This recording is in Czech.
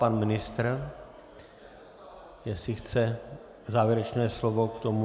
Pan ministr, jestli chce závěrečné slovo k tomu.